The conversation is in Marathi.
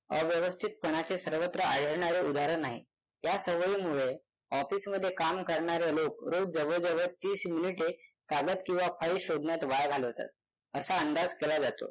अव्यवस्थितपणाचे सर्वत्र आढळणारे उदाहरण आहे. या सवयीमुळे office मध्ये काम करणारे लोक रोज जवळजवळ तीस मिनिटे कागद किंवा file शोधण्यात वाया घालवतात असा अंदाज केला जातो.